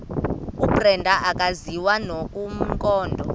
ubrenda akaziwa nomkhondo